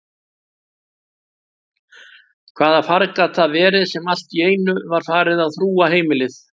Hvaða farg gat það verið sem alltíeinu var farið að þrúga heimilið?